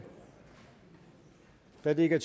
da det ikke